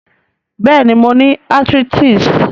Béèni, mo ni arthritis